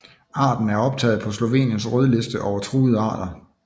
Arten er optaget på Sloveniens Rødliste over truede arter